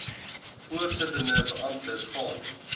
voorsittende beamptes gaan